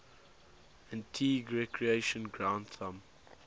antigua recreation ground thumb